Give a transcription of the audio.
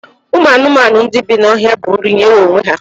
Ụmụ anụmanụ ndị bí n'ọhịa bụ nri nwere onwe ya